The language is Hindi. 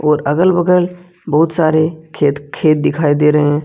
और अगल बगल बहुत सारे खेत दिखाई दे रहे हैं।